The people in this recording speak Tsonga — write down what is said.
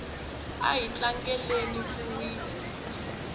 ahi tlangela ku wina